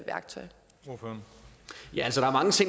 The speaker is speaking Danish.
nå